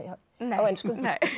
á ensku nei